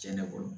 Tiɲɛ de bolo